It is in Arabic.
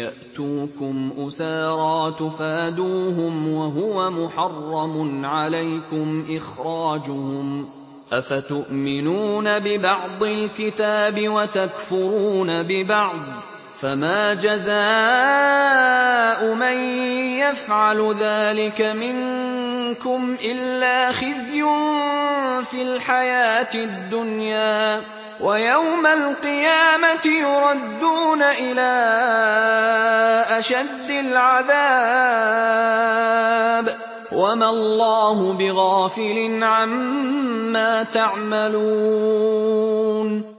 يَأْتُوكُمْ أُسَارَىٰ تُفَادُوهُمْ وَهُوَ مُحَرَّمٌ عَلَيْكُمْ إِخْرَاجُهُمْ ۚ أَفَتُؤْمِنُونَ بِبَعْضِ الْكِتَابِ وَتَكْفُرُونَ بِبَعْضٍ ۚ فَمَا جَزَاءُ مَن يَفْعَلُ ذَٰلِكَ مِنكُمْ إِلَّا خِزْيٌ فِي الْحَيَاةِ الدُّنْيَا ۖ وَيَوْمَ الْقِيَامَةِ يُرَدُّونَ إِلَىٰ أَشَدِّ الْعَذَابِ ۗ وَمَا اللَّهُ بِغَافِلٍ عَمَّا تَعْمَلُونَ